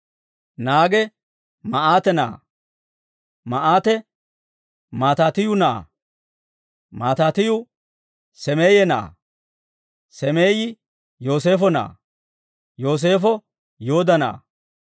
Naage Maa'aate na'aa; Maa'aate Maataatiyyu na'aa; Maataatiyyu Seemeye na'aa; Seemeyi Yooseefo na'aa; Yooseefo Yooda na'aa;